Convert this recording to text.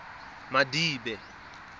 madibe